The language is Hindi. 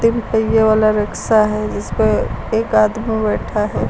तीन पहिए वाला रिक्शा है। इसपे एक आदमी बैठा है।